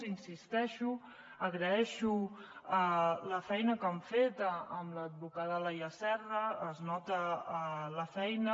hi insisteixo agraeixo la feina que han fet amb l’advocada laia serra es nota la feina